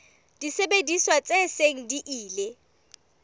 disebediswa tse seng di ile